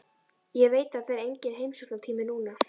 Ég veit að það er enginn heimsóknartími núna.